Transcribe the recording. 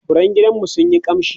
furen gidanmu suna kamshi